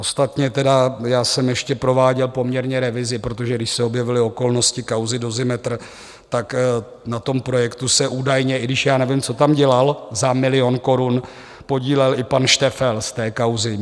Ostatně tedy já jsem ještě prováděl poměrně revizi, protože když se objevily okolnosti kauzy Dozimetr, tak na tom projektu se údajně, i když já nevím, co tam dělal za milion korun, podílel i pan Šteffel z té kauzy.